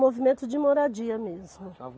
Movimento de Moradia mesmo.